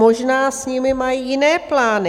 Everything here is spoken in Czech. Možná s nimi mají jiné plány.